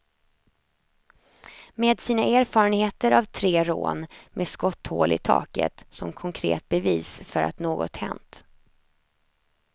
Med sina erfarenhter av tre rån med skotthål i taket som konkret bevis för att något hänt.